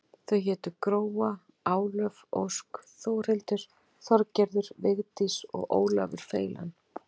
Þau hétu Gróa, Álöf, Ósk, Þórhildur, Þorgerður, Vigdís og Ólafur feilan.